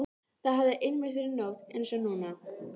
Það hafði einmitt verið nótt einsog núna.